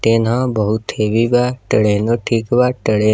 ट्रेनों बहुत हैवी बा ट्रेनों ठीक बा ट्रैन --